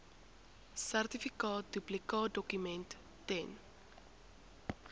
sertifikaat duplikaatdokument ten